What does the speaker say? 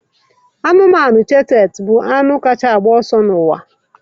Anụ ọhịa cheeta bụ anụmanụ kacha ọsọ n'ụwa